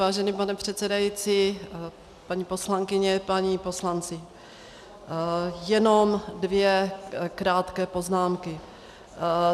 Vážený pane předsedající, paní poslankyně, páni poslanci, jenom dvě krátké poznámky.